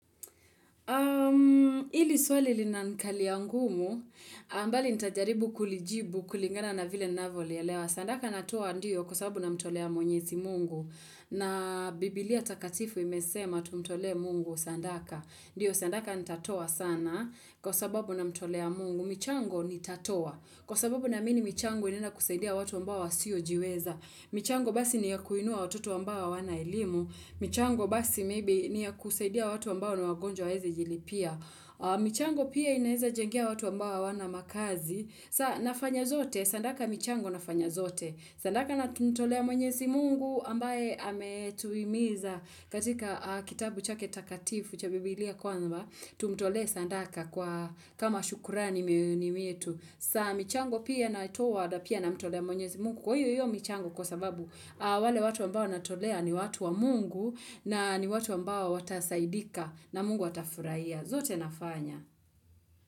Ili swali linanikalia ngumu bali nitajaribu kulijibu kulingana na vile ninavyolielewa sandaka natoa ndiyo kwa sababu na mtolea mwenyezi Mungu na biblia takatifu imesema tumtolee Mungu sandaka. Ndio sandaka nitatoa sana kwa sababu namtolea Mungu. Michango nitatoa. Kwa sababu naamini michango inaenda kusaidia watu ambao wasio jiweza. Michango basi ni ya kuinua watu ambaoa hawana elimu. Michango basi maybe ni ya kusaidia watu ambao ni wagonjwa hawawezi jilipia. Michango pia inaweza jengea watu ambao hawana makazi. Sa nafanya zote, sandaka michango nafanya zote. Sandaka namtolea mwenyezi Mungu ambaye ametuimiza katika kitabu chake takatifu cha Bibilia kwamba, tumtolee sandaka kwa kama shukurani mioyoni mietu. Sa michango pia natoa na pia namtolea mwenyezi Mungu. Kwa hiyo hiyo michango kwa sababu wale watu ambao natolea ni watu wa Mungu na ni watu ambao watasaidika na Mungu atafurahia. Zote nafanya.